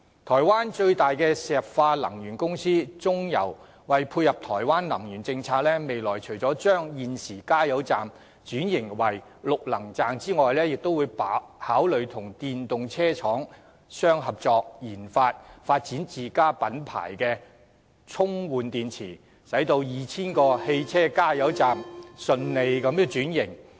台灣最大石化能源公司台灣中油為配合台灣的能源政策，未來除了會將現時的加油站轉型為綠能站，亦會考慮與電動車廠商合作研發自家品牌充換電池，讓 2,000 個汽車加油站能順利轉型。